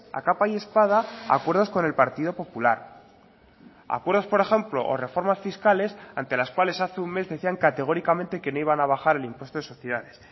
a capa y espada acuerdos con el partido popular acuerdos por ejemplo o reformas fiscales ante las cuales hace un mes decían categóricamente que no iban a bajar el impuesto de sociedades